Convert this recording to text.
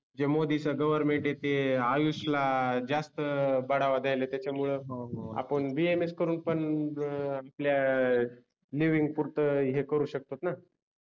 हे मोदी च government येते आयुषला जास्त बढावा द्यायले त्याच्यामुळे आपुन BAMS करून पन आपल्या लिविंग पुरत हे करू शकतात न